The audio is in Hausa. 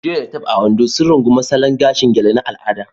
Joy da Tope, a Ondo, sun rungumi salon gashin gele na al'ada